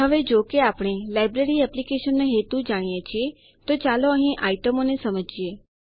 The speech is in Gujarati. હવે જો કે આપણે લાઈબ્રેરી એપ્લીકેશનનો હેતુ જાણીએ છીએ તો ચાલો અહીં આઈટમો ને સમજીએ